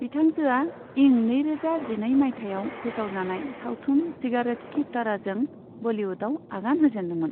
बिथांजोआ इं नैरोजा जिनै मायथायाव फोसावजानाय सावथुन सिगारेट की तरहजों बलीवुडआव आगान होजेनदोंमोन।